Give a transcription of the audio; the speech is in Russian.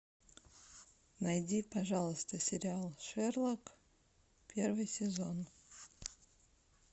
найди пожалуйста сериал шерлок первый сезон